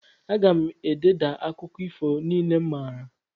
Aga m ededa akụkọ ifo niile m maara.